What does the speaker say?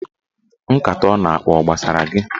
Nkata ọ na-akpa ọ gbasara gị?